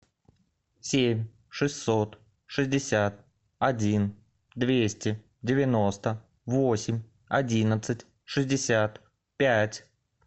семь шестьсот шестьдесят один двести девяносто восемь одиннадцать шестьдесят пять